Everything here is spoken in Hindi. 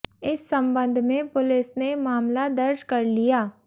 इस संबंध में पुलिस ने मामला दर्ज कर लिया